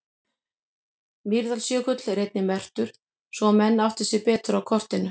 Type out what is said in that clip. Mýrdalsjökull er einnig merktur svo að menn átti sig betur á kortinu.